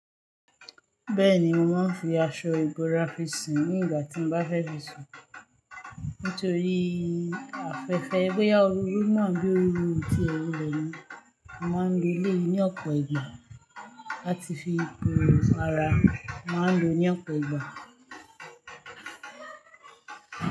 Bẹ́ẹ̀ni, mo ma ń fi aṣọ ìbora finsun ní igna tí mo bá fẹ́ fi sùn. Nítorí afẹ́fẹ́, bóyá ooru yìí mu àbí ooru ó tiẹ̀ wulẹ̀ mu. A ma ń lo eleyìí ní ọ̀pọ̀ ìgbà láti fi bo ara, a ma ń lo ní ọ̀pọ̀ ìgbà.